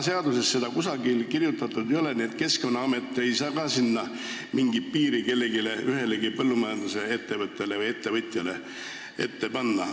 Seaduses seda keeldu kusagil kirjas ei ole, nii et Keskkonnaamet ei saa sellise asja vältimiseks mingit piirangut kellelegi, ühelegi põllumajandusettevõttele või -ettevõtjale kehtestada.